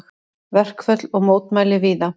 Verkföll og mótmæli víða